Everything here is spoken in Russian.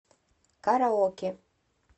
караоке